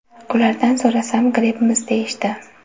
Ulardan so‘rasam grippmiz deyishdi.